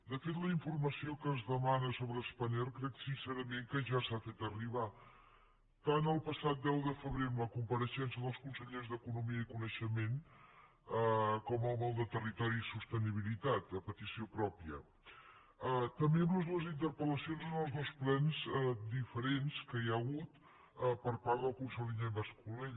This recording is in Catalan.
de fet la informació que es demana sobre spanair crec sincerament que ja s’ha fet arribar tant el passat deu de febrer amb la compareixença dels consellers d’economia i coneixement com amb el de territori i sostenibilitat a petició pròpia i també amb les dues interpel·lacions en els dos plens diferents que hi ha hagut per part del conseller mascolell